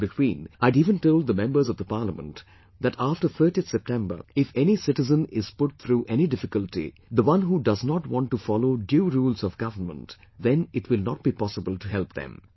In between, I had even told the Members of the Parliament that after 30th September if any citizen is put through any difficulty, the one who does not want to follow due rules of government, then it will not be possible to help them